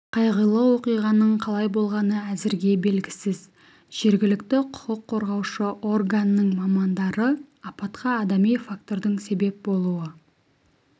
қайғылы оқиғаның қалай болғаны әзірге белгісіз жергілікті құқық қорғаушы органның мамандары апатқа адами фактордың себеп болуы